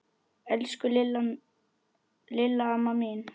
Elsku Lilla amma mín.